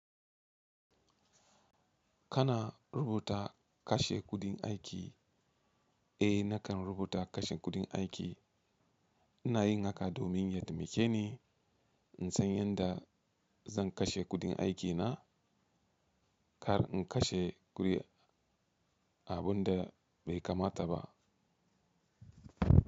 Kana rubuta kashe kudin aiki? Eh nakan rubuta kashe kudin aiki. iNa yin haka domin ya taimake ni in san yadda zan kashe kudin aikina kar in kashe abun da bai kamata ba.